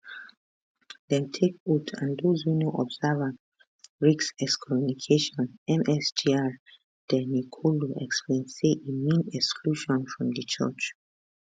dem take oath and those wey no observe am risk excommunication msgr de nicolo explain say e mean exclusion from di church